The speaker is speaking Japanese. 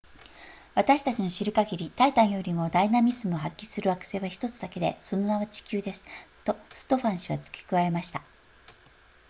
私たちの知る限りタイタンよりもダイナミズムを発揮する惑星は1つだけでその名は地球ですとストファン氏は付け加えました